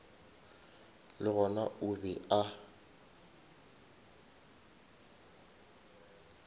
le gona o be a